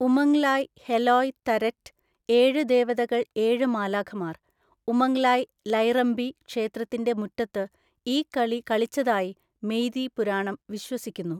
ഉമങ്ലായ് ഹെലോയ് തരെറ്റ് (ഏഴ് ദേവതകൾ ഏഴ് മാലാഖമാർ) ഉമങ് ലായ് ലൈറംബി ക്ഷേത്രത്തിൻ്റെ മുറ്റത്ത് ഈ കളി കളിച്ചതായി മെയ്തി പുരാണം വിശ്വസിക്കുന്നു.